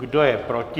Kdo je proti?